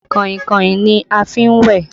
Kàìnkàìn ni a fi n wẹ́